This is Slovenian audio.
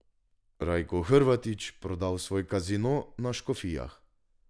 Rajko Hrvatič prodal svoj kazino na Škofijah.